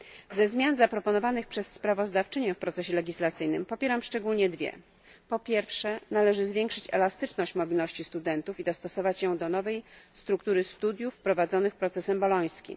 Ze zmian zaproponowanych przez sprawozdawczynię w procesie legislacyjnym popieram szczególnie dwie po pierwsze, należy zwiększyć elastyczność mobilności studentów i dostosować ją do nowej struktury studiów prowadzonych procesem bolońskim.